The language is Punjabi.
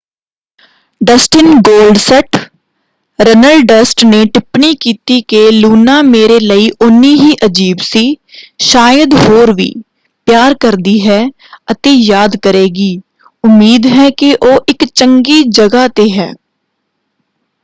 ਡਸਟਿਨ ਗੋਲਡਸਟ” ਰਨਲਡਸਟ ਨੇ ਟਿੱਪਣੀ ਕੀਤੀ ਕਿ ਲੂਨਾ ਮੇਰੇ ਲਈ ਉਨ੍ਹੀਂ ਹੀ ਅਜ਼ੀਬ ਸੀ...ਸ਼ਾਇਦ ਹੋਰ ਵੀ...ਪਿਆਰ ਕਰਦੀ ਹੈ ਅਤੇ ਯਾਦ ਕਰੇਗੀ...ਉਮੀਦ ਹੈ ਕਿ ਉਹ ਇੱਕ ਚੰਗੀ ਜਗ੍ਹਾ 'ਤੇ ਹੈ।